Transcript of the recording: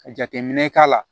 Ka jateminɛ k'a la